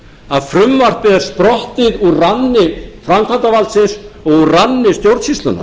að frumvarpið er sprottið úr ranni framkvæmdarvaldsins úr ranni stjórnsýslunnar